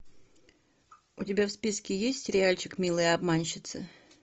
у тебя в списке есть сериальчик милые обманщицы